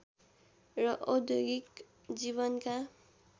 र औद्योगिक जीवनका